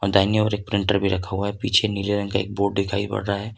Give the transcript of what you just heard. दाहिनी ओर एक प्रिंटर भी रखा हुआ हैं पीछे नीले रंग का एक बोर्ड दिखाई पड़ रहा हैं।